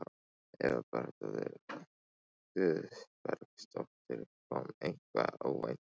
Eva Bergþóra Guðbergsdóttir: Kom eitthvað óvænt uppá?